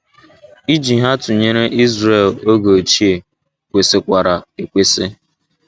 Iji ha tụnyere Izrel oge ochie kwesikwara ekwesị.